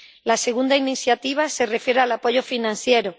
La segunda iniciativa se refiere al apoyo financiero.